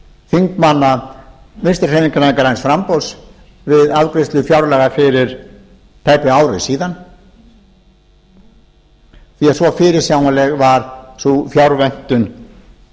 þingmanna vinstri hreyfingarinnar græns framboðs við afgreiðslu fjárlaga fyrir tæpu ári síðan því að svo fyrirsjáanleg var sú fjárvöntun